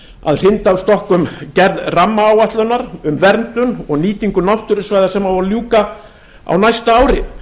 að hrinda af stokkum gerð rammaáætlunar um verndun og nýtingu náttúrusvæða sem á að ljúka á næsta ári